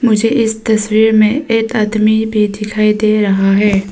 मुझे इस तस्वीर में एक आदमी भी दिखाई दे रहा है।